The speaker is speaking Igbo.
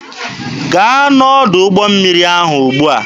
Gaa n'ọdụ ụgbọ mmiri ahụ ugbua!